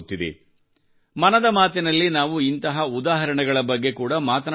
ಮನದ ಮಾತಿ ನಲ್ಲಿ ನಾವು ಇಂತಹ ಉದಾಹರಣೆಗಳ ಬಗ್ಗೆ ಕೂಡಾ ಮಾತನಾಡುತ್ತಿರುತ್ತೇವೆ